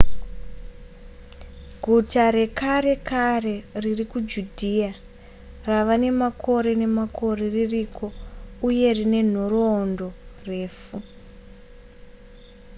guta rekare kare riri kujudhiya rava nemakore nemakore ririko uye rine nhoroorondo refu